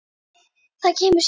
Það kemur síðar.